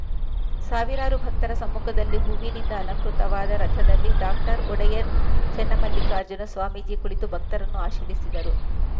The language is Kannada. ಸಾವಿರಾರು ಭಕ್ತರ ಸಮ್ಮುಖದಲ್ಲಿ ಹೂವಿನಿಂದ ಅಲಂಕೃತವಾದ ರಥದಲ್ಲಿ ಡಾಕ್ಟರ್ ಒಡೆಯರ್‌ ಚನ್ನಮಲ್ಲಿಕಾರ್ಜುನ ಸ್ವಾಮೀಜಿ ಕುಳಿತು ಭಕ್ತರನ್ನು ಆಶೀರ್ವದಿಸಿದರು